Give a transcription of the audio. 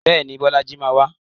Bẹ́ẹ̀ni, Bọ́lájí máa wá.